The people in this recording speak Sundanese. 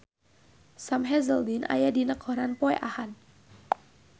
Sam Hazeldine aya dina koran poe Ahad